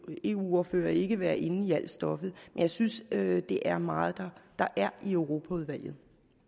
ordførere ikke være inde i alt stoffet jeg synes at det er meget der er i europaudvalget